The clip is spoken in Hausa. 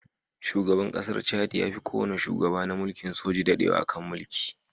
Shugaban ƙasar Chadi ya fi kowane shugaba na mulkin soji dadewa a kan mulki.